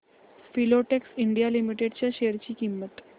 Filatex India limited च्या share ची किंमत